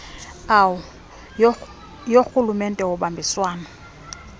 au yorhulumente womdibaniselwano